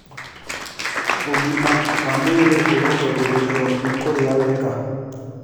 Ũgima wa mwĩrĩ ũrũngagĩririo nĩ kũrĩa wega